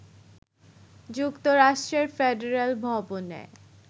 যুক্তরাষ্ট্রের ফেডারেল ভবনে